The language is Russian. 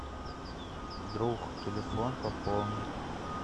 друг телефон пополнить